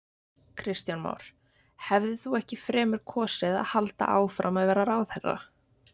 Kristján Már: Hefðir þú ekki fremur kosið að halda áfram að vera ráðherra?